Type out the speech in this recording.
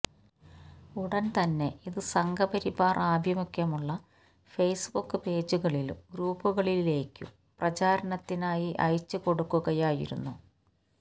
ഉടൻ തന്നെ ഇത് സംഘപരിവാർ ആഭിമുഖ്യമുള്ള ഫേസ്ബുക് പേജുകളിലും ഗ്രൂപ്പുകളികളിലേക്കും പ്രചാരണത്തിനായി അയച്ചു കൊടുക്കുകയായിരുന്നു